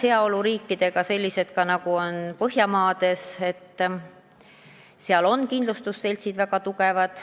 Heaoluriikides, sh Põhjamaades, on kindlustusseltsid väga tugevad.